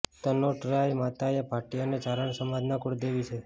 તનોટરાય માતા એ ભાટી અને ચારણ સમાજના કુળદેવી છે